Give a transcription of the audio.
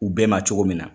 U bɛɛ ma cogo min na